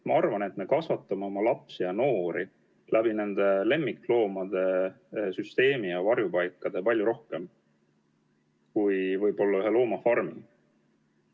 Ma arvan, et me kasvatame oma lapsi ja noori lemmikloomade süsteemi ja varjupaikade kaudu võib-olla rohkem kui ühe karusloomafarmi sulgemise kaudu.